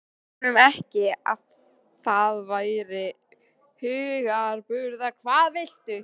Sagðirðu honum ekki, að það væri hugarburður?